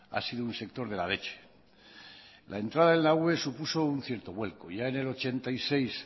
ha sido un sector de la leche la entrada en la ue supuso un cierto vuelco ya en el ochenta y seis